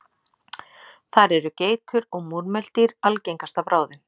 Þar eru geitur og múrmeldýr algengasta bráðin.